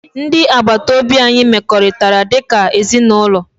Ndị agbata obi anyị mekọrịtara dị ka ezinụlọ